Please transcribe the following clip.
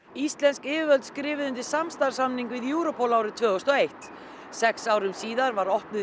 íslensk yfirvöld skrifuðu undir samstarfssamning við Europol árið tvö þúsund og eitt sex árum síðar var opnuð